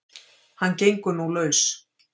Hann gengur nú laus